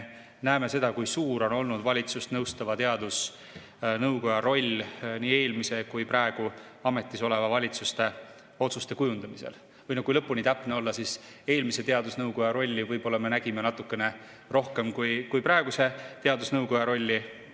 Näeme, kui suur on olnud valitsust nõustava teadusnõukoja roll nii eelmise kui praegu ametis oleva valitsuse otsuste kujundamisel, või kui lõpuni täpne olla, siis eelmise teadusnõukoja rolli me võib-olla nägime natukene rohkem kui praeguse teadusnõukoja rolli.